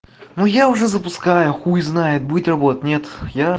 ну я уже запускаю хуй знает будет работать нет я